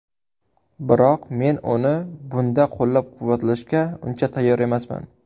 Biroq men uni bunda qo‘llab-quvvatlashga uncha tayyor emasman.